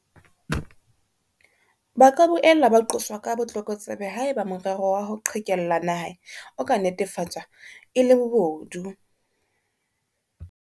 Ba ka boela ba qoswa ka botlokotsebe haeba morero wa ho qhekella naha o ka netefatswa e le bobodu.